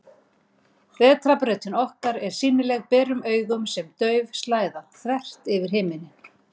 Vetrarbrautin okkar er sýnileg berum augum sem dauf slæða, þvert yfir himinninn.